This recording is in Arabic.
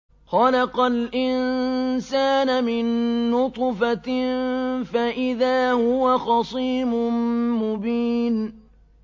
خَلَقَ الْإِنسَانَ مِن نُّطْفَةٍ فَإِذَا هُوَ خَصِيمٌ مُّبِينٌ